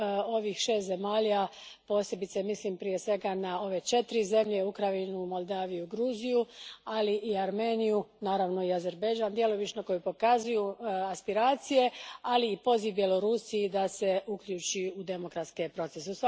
ovih šest zemalja, posebice mislim prije svega na ove četiri zemlje Ukrajinu, Moldaviju, Gruziju, ali i Armeniju, naravno i Azerbajdžan djelomično, koji pokazuju aspiracije, ali i poziv Bjelorusiji da se uključi u demokratske procese.